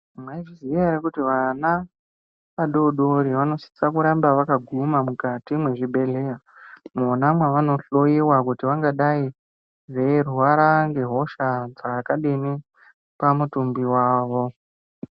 Mwaizviziya here kuti vana vadoodori vanosisa kuramba vakaguma mukati mwezvibhehleya mwona mwavanohloyiwa kuti vangadai veirwara ngehosha dzakadini pamutumbi wavo.